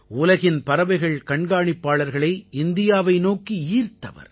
உலகின் பறவைகள் கண்காணிப்பாளர்களை இந்தியாவை நோக்கி ஈர்த்தவர்